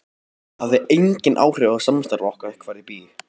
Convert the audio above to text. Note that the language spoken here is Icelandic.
Það hefði engin áhrif á samstarf okkar hvar ég bý.